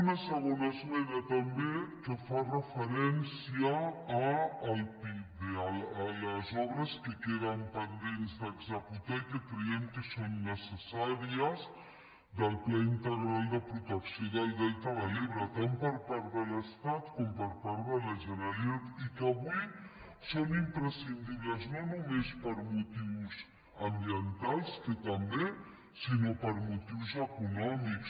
una segona esmena també que fa referència al pipde a les obres que queden pendents d’executar i que creiem que són necessàries del pla integral de protecció del delta de l’ebre tant per part de l’estat com per part de la generalitat i que avui són imprescindibles no només per motius ambientals que també sinó per motius econòmics